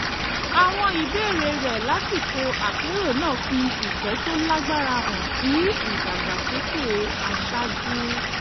àwọn ìbéèrè rẹ̀ lásìkò àpérò náà fi ìfẹ́ tó lágbára hàn sí ìdàgbàsókè aṣáájú